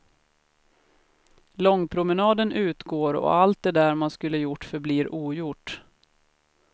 Långpromenaden utgår och allt det där man skulle gjort förblir ogjort.